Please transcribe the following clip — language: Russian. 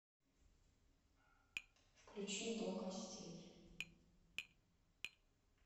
включи до костей